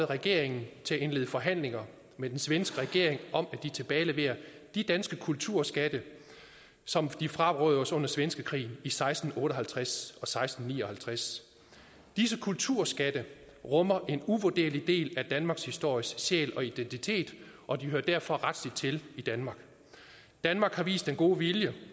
regeringen til at indlede forhandlinger med den svenske regering om at de tilbageleverer de danske kulturskatte som de frarøvede os under svenskekrigen i seksten otte og halvtreds og seksten ni og halvtreds disse kulturskatte rummer en uvurderlig del af danmarkshistoriens sjæl og identitet og de hører derfor rettelig til i danmark danmark har vist den gode vilje